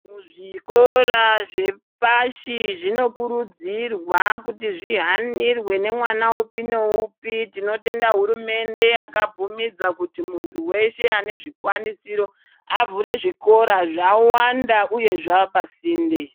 Kuzvikora zvepashi zvinokurudzirwa kuti zvihanirwe nemwana upi neupi, tinotenda hurumende yakabvumidza kuti munhu weshe anezvikwanisiro avhure zvikora, zvawanda uye zvaapasinde.